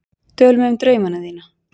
Tölum um draumana þína.